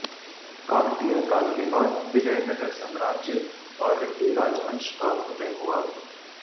काकतीय काल के बाद विजयनगर साम्राज्य और रेड्डी राजवंश का उदय हुआ